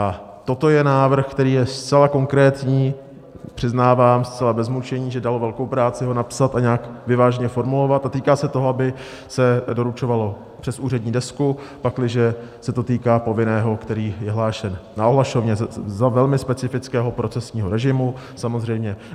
A toto je návrh, který je zcela konkrétní - přiznávám zcela bez mučení, že dalo velkou práci ho napsat a nějak vyváženě formulovat - a týká se toho, aby se doručovalo přes úřední desku, pakliže se to týká povinného, který je hlášen na ohlašovně, za velmi specifického procesního režimu, samozřejmě.